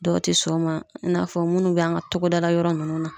Dɔw te sɔn o ma , i n'a fɔ munnu b'an ka togodala yɔrɔ nunnu na.